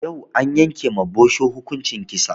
Yau an yanke ma bosho hukunci kisa